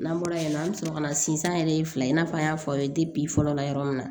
N'an bɔra yen nɔ an bɛ sɔrɔ ka na sinsin yɛrɛ ye fila in na an y'a fɔ aw ye de fɔlɔ la yɔrɔ min na